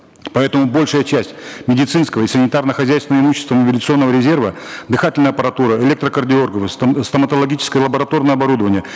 поэтому большая часть медицинского и санитарно хозяйственного имущества мобилизационного резерва дыхательная аппаратура электрокардиографы стоматологическо лабораторное оборудование